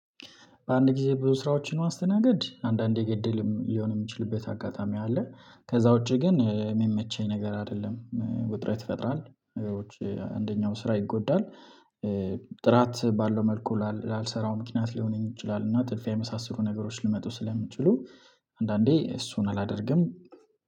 በአንድ ጊዜ ብዙ ስራዎችን ማስተናግድ አንዳንዴ እድልም ሊሆን የሚችልበት አጋጣሚ አለ። ከዛ ውጪ ግን የሚመቸኝ ነገር አይደለም እ ውጥረት ይፈጥራል። ነገሮች እ አንደኛው ስራ ይጎዳል እ ጥራት ባለው መልኩ ላል ላልሰራው ምክንያት ሊሆን ይችላል። እና ጥድፊያ የመሳሰሉ ነገሮች ሊመጡ ስለሚችሉ። አንዳንዴ እሱን አላደርግም